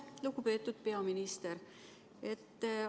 Lugupeetud peaminister!